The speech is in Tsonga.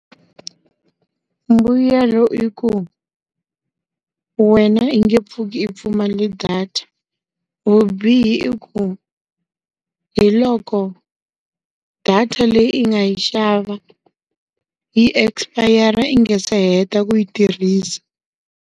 Mbuyelo i ku, wena i nge pfuki i pfumale data. Vubihi i ku, hi loko, data leyi yi nga yi xava, yi espayara i nge se heta ku yi tirhisa.